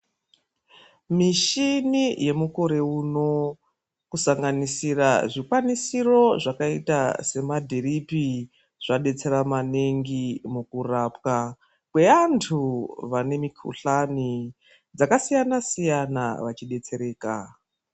Mishini yemukore uno kusanganisira zvikwanisiro zvakaita semadhiripi zvaidetsera maningi mukurapwa kweantu vane mikhuhlani dzakasiyana-siyana vachidetsereka.